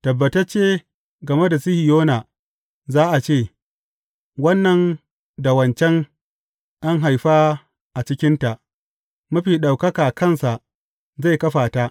Tabbatacce, game da Sihiyona za a ce, Wannan da wancan an haifa a cikinta, Mafi Ɗaukaka kansa zai kafa ta.